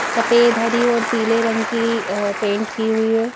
सफेद हरी और पीले रंग की अ पेंट की हुई है।